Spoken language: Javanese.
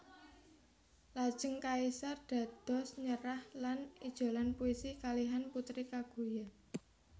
Lajeng kaisar dados nyerah lan ijolan puisi kalihan Putri Kaguya